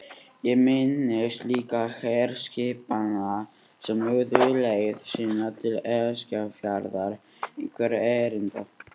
Ég minnist líka herskipanna sem lögðu leið sína til Eskifjarðar einhverra erinda.